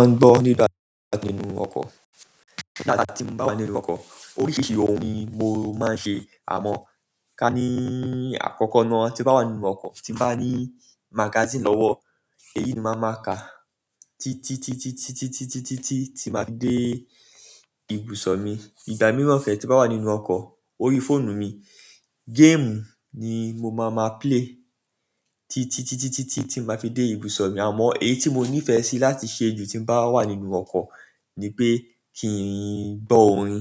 Mo máa ń gbọ́ nínú bàtà nínú ọkọ̀. Ìgbà tí mo bá wà nínú ọkọ̀ oríṣiríṣi ohun ni mo máa ń ṣe àmọ́ kani akoko náà, tin ba wa nínú oko tin ba ni magazine lowo èyí ni mo ma ka titi ti títítítí tí màá dé ibùsọ̀ mi. Ìgbà mìíràn ke tí bá wà nínú ọkọ̀ orí fóònù mi, game ni mo máa ma play títítí tí màá fi dé ibùsọ̀ mi. Àmọ́ èyí tí mo nífẹ̀ẹ́ sí láti ṣe jù tí bá wà nínú ọkọ̀ ni pé kí n gbọ́ orin.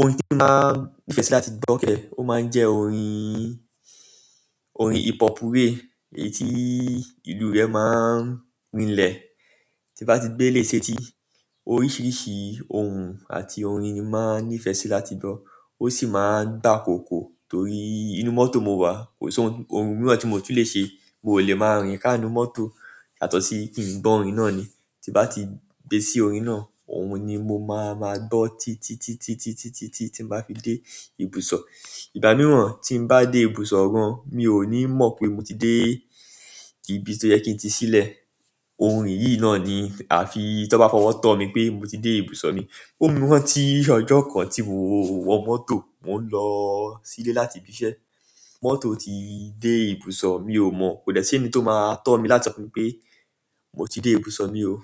Orin tí màá nífẹ̀ẹ́ sí láti gbọ́ kẹ́, ó máa ń jẹ́ orin, orin hip hop wé èyí tí ìlú rẹ̀ máa ń rinlẹ̀ tí bá ti gbé ilé setí. Oríṣiríṣi ohun àti orin ni màá nífẹ̀ẹ́ sí láti gbọ́. Ó sì máa ń gbàkókò torí inú mọ́tò mo wà, kò sí ohun mìíràn tí mo tún lè ṣe. Mo ò lè máa rìn ká inú mọ́tò yátọ̀sí kí n gbọ́ orín náà ni. Ti bá ti dé sí orin náà, òun ni mo máa máa gbo títítítí tí màá fi dé ibùsọ̀. Ìgbà mìíràn tí ń bá dé ibùsọ̀ gan, mi ò ní mọ̀ pé mo ti dé ibi tí ó yẹ kí n ti sílẹ̀. Orin yìí náà ni àfi tí wọ́n bá fọwọ́ tọ́ mi pé mo ti dé ibùso mi. Ó mú mi ran tí ọjọ́ kan tí mo wọ mọ́tò, mò ń lọ sílé láti ibi iṣẹ́. Mọ́tò ti dé ibùsọ̀, mi ò mọ̀. Kò dẹ̀ sẹ́ni tó máa tọ́ mi láti sọ fún mi pé mo ti dé ibùso mi o.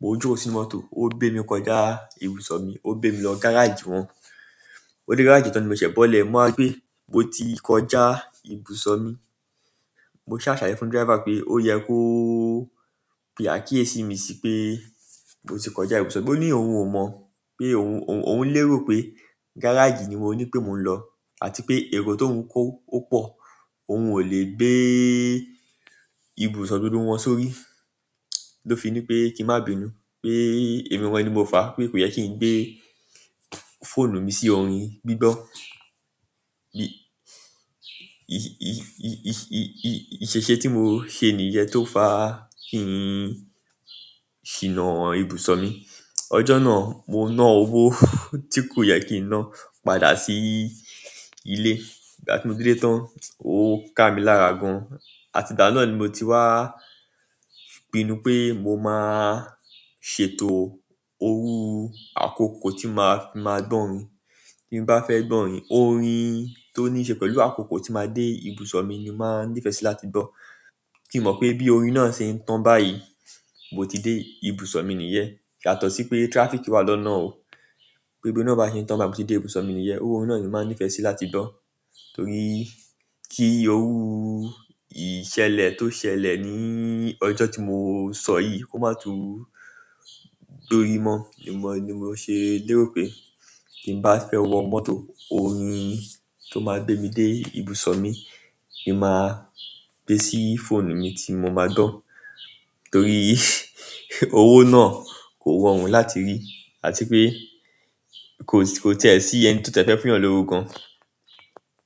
Mo joko sínú mọ́tò, ó gbé mi kọjá ibùsọ̀ mi, ó gbé mi lọ gáràjì wọn. Ó dé gáràjì tán ni mo ṣẹ̀ bọ́lẹ̀. Mo máa gbẹ́ mo ti kọjá ibùsọ̀ mi. Mo ṣà salẹ̀ye fún driver pé ó yẹ kó pe akíyèsí mi sí pé mo ti kọjá ibùsọ̀ mi. Ó ní òun ò mọ̀ pé òun ò ń lérò pé gáràjì ni mo ní pé mò ń lọ àti pé èrò tó ń kó ó pọ̀. Oun o le gbe ibuso gbogbo won sórí, lo fi nipe kin ma bínú pe emi gan ni mo fa pe ko ye kin gbe fóònù mi si orin gbigbo bí-- i-i-i-i-iṣẹ́-iṣẹ́ tí mo ṣe nìyẹn tó fà á kí n ṣìnà ibùsọ̀ mi. Ojo náà mo na owo ti ko ye kin na padà si ile ìgbà tí mo dé ilé tán, ó ká mi lára gan. Àti ìgbana náà ni mo ti wá pinnu pé mo máa ṣètò owó àkókò tí màá fi máa gbọ́ orin. Bí mo bá fẹ́ gbọ́ orin, orin tó nííṣe pẹ̀lú àkókò tí màá dé ibùsọ̀ mi ni màá nífẹ̀ẹ́ sí láti gbọ́. Kí n mọ̀ pé bí orin náà ṣe ń tàn báyìí, mo ti dé ibùsọ̀ mi níyẹn yátọ̀sí pé traffic wà lọ́nà o. Pé bí orin náà ba ṣe ń tàn báyi mo ti dé ibùsọ̀ mi níyẹn. Iru orin náà ni màá nífẹ̀ẹ́ sí láti gbọ́ torí kí irú ìṣẹ̀lẹ̀ tó ṣẹlẹ̀ ní ọjọ́ tí mo sọ yìí kó má tún dúró mọ́ ni mo ṣe lérò pé kí ń bá fẹ́ wọ mọ́tò orin tó máa gbé mi dé ibùsọ̀ mi ni màá gbé sí fóònù mi tí mo máa gbọ́ torí owó náà kò rọ̀ rùn láti rí àti pé kò tẹ́ẹ̀ sí ẹni tó fẹ́ fún yan lówó gan.